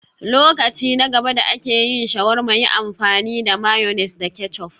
Lokaci na gaba da ake yin shawarma, yi amfani da mayonnaise da ketchup